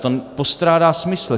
To postrádá smysl.